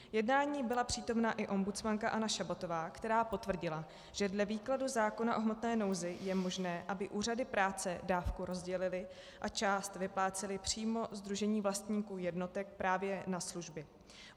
Jednání byla přítomna i ombudsmanka Anna Šabatová, která potvrdila, že dle výkladu zákona o hmotné nouzi je možné, aby úřady práce dávku rozdělily a část vyplácely přímo sdružení vlastníků jednotek právě na služby.